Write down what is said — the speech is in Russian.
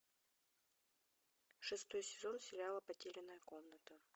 шестой сезон сериала потерянная комната